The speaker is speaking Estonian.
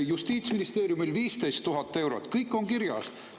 Justiitsministeeriumil 15 000 eurot, kõik on kirjas.